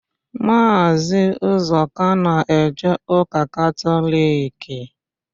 Maazị Ụzọka na-eje ụka Katọliki.